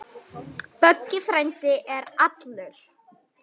Böggi frændi er allur.